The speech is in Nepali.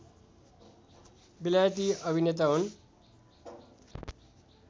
बेलायती अभिनेता हुन्